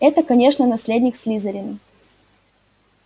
это конечно наследник слизерина